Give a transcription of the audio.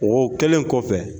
O kɛlen kɔfɛ